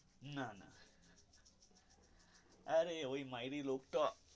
না না আরে ওই মাইরি লোক টা.